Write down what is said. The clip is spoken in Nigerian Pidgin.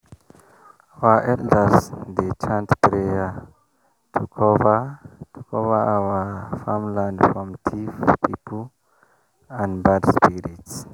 our elders dey chant prayer to cover to cover our farm land from thief people and bad spirits.